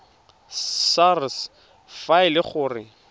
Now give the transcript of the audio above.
sars fa e le gore